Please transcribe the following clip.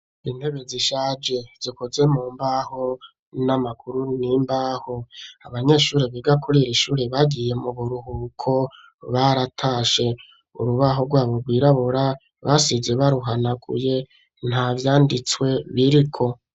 Intebe zishaje zikoze mu mbaho n'amaguru n'imbaho, abanyeshuri biga kurir'ishuri bagiye mu buruhuko baratashe ,urubaho rwabo rwirabura basize baruhanaguye nta vyanditswe biriko.